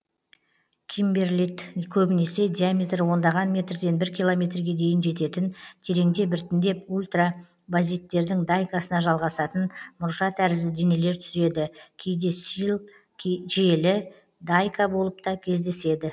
кимберлит көбінесе диаметрі ондаған метрден бір километрге дейін жететін тереңде біртіндеп ультрабазиттердің дайкасына жалғасатын мұржа тәрізді денелер түзеді кейде силл желі дайка болып та кездеседі